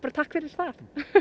takk fyrir það